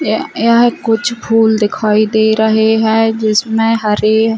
य यहाँ कुछ फूल दिखाई दे रहे है जिसमें हरे--